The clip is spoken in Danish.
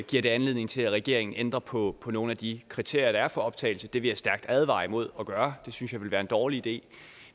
giver det anledning til at regeringen ændrer på nogle af de kriterier der er for optagelse det vil jeg stærkt advare imod at gøre det synes jeg ville være en dårlig idé